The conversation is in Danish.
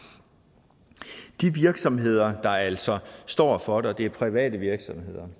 de virksomheder der altså står for det er private virksomheder